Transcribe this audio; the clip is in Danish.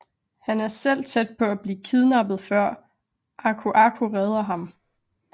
Han er selv tæt på at blive kidnappet før Aku Aku redder ham